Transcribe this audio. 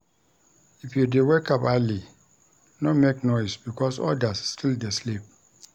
If you dey wake up early, no make noise because odas still dey sleep.